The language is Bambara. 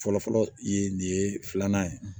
Fɔlɔfɔlɔ ye nin ye filanan ye